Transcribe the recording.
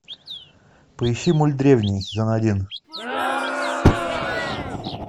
поищи мульт древний сезон один